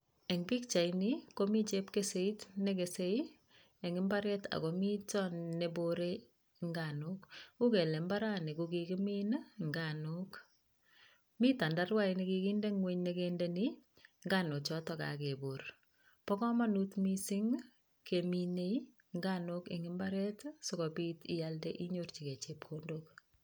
Eng' pikchaini komi chepkeseit nekesei eng' imbaret akomito neborei nganok uu kele mbarani kokikimiin nganok mi tandaruat nekikinde ng'weny nekendeni nganochoto kakebor bo kamanut mising' keminei nganok eng' imbaret sikobit iyalde inyorchigei chepkondok